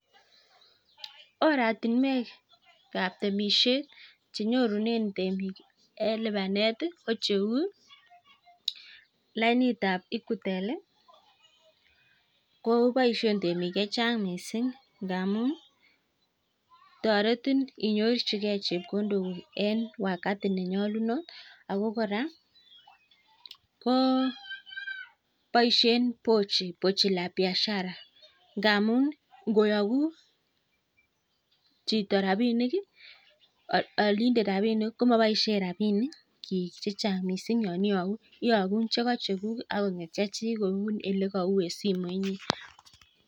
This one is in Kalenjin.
Oratinwekab temishet chenyorune temik eng lipanet ko cheu lainitab Equitel. Ko boishe temik chechang mising ngamun toretin inyorchikei chepkondokuk eng wakati nenyolunot ako kora boishe pochi la biashara ngamun koyogun chito rapinik, olindet rapinik, ko maboishe rabinikchi chechang mising. Iyogu chekachekuk ak kong'et chechi kou ele kau en simoit.